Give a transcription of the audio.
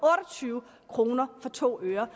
tyve kroner for to ører